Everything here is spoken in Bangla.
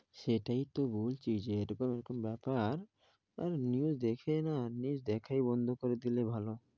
সেটাই তো বলছি যে এই রকম এই রকম ব্যাপার আর news দেখেই না news দেখায় বন্ধ করে দিলে ভালো।